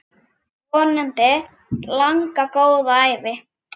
Vonandi langa, góða ævi.